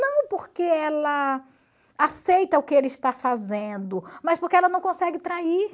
Não porque ela aceita o que ele está fazendo, mas porque ela não consegue trair.